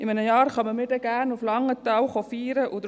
In einem Jahr werden wir dann gerne nach Langenthal feiern kommen.